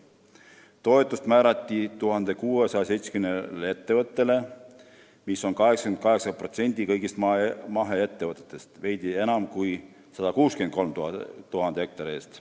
Toetus määrati 1670 ettevõttele, mis on 88% kõigist maheettevõtetest, veidi enam kui 163 000 hektari eest.